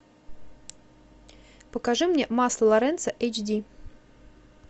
покажи мне масло лоренцо эйч ди